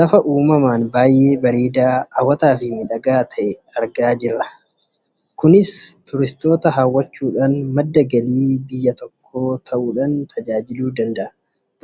lafa uummamaan baayyee bareedaa, hawwataa fi miidhagaa ta'e argaa kan jirrudha. kunis madda galii argamsiisu ta'uu kan danda'udha karaa turistootaa.